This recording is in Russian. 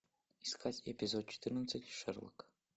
искать эпизод четырнадцать шерлок